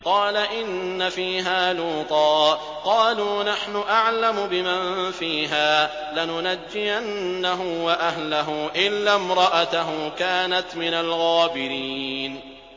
قَالَ إِنَّ فِيهَا لُوطًا ۚ قَالُوا نَحْنُ أَعْلَمُ بِمَن فِيهَا ۖ لَنُنَجِّيَنَّهُ وَأَهْلَهُ إِلَّا امْرَأَتَهُ كَانَتْ مِنَ الْغَابِرِينَ